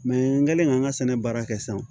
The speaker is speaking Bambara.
n kɛlen k'an ka sɛnɛ baara kɛ sisan